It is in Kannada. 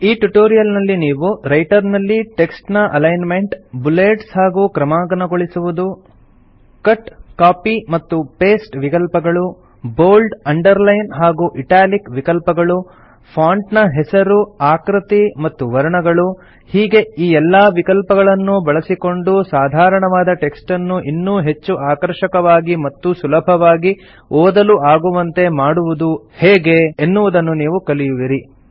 ಈ ಟ್ಯುಟೋರಿಯಲ್ ನಲ್ಲಿ ನೀವು ರೈಟರ್ ನಲ್ಲಿ ಟೆಕ್ಸ್ಟ್ ನ ಅಲೈನ್ಮೆಂಟ್ ಬುಲೆಟ್ಸ್ ಹಾಗೂ ಕ್ರಮಾಂಕನಗೊಳಿಸುವುದು ಕಟ್ ಕಾಪಿ ಮತ್ತು ಪೇಸ್ಟ್ ವಿಕಲ್ಪಗಳು ಬೋಲ್ಡ್ ಅಂಡರ್ ಲೈನ್ ಹಾಗೂ ಇಟಾಲಿಕ್ ವಿಕಲ್ಪಗಳು ಫಾಂಟ್ ನ ಹೆಸರು ಆಕೃತಿ ಮತ್ತು ವರ್ಣಗಳು ಹೀಗೆ ಈ ಎಲ್ಲಾ ವಿಕಲ್ಪಗಳನ್ನೂ ಬಳಸಿಕೊಂಡು ಸಾಧಾರಣವಾದ ಟೆಕ್ಸ್ಟನ್ನು ಇನ್ನೂ ಹೆಚ್ಚು ಆಕರ್ಷಕವಾಗಿ ಮತ್ತು ಸುಲಭವಾಗಿ ಓದಲು ಆಗುವಂತೆ ಮಾಡುವುದು ಹೇಗೆ ಎನ್ನುವುದನ್ನು ಕಲಿಯುವಿರಿ